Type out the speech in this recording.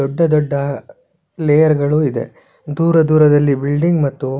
ದೊಡ್ಡ ದೊಡ್ಡ ಲೇಯರ್ ಗಳು ಇದೆ ದೂರ ದೂರದಲ್ಲಿ ಬಿಲ್ಡಿಂಗ್ ಮತ್ತು--